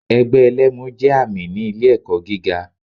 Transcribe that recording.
Ẹgbẹ́ ẹlẹ́mu jé ààmì ni ilé èkó giga